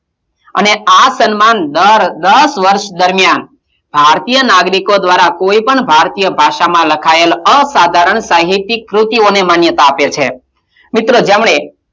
અને આ સન્માન દર દસ વર્ષ દરમિયાન ભારતીય નાગરિકો દ્વારાં કોઈ પણ ભારતીય ભાષામાં લખાયેલ અસાધારણ સાહિતિક ક્રુતિઓને માન્યતાં આપે છે. મિત્રો જેમણે,